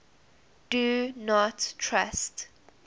do not trust